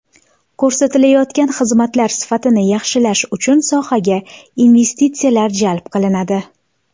Ko‘rsatilayotgan xizmatlar sifatini yaxshilash uchun sohaga investitsiyalar jalb qilinadi.